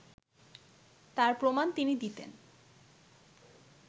তার প্রমাণ তিনি দিতেন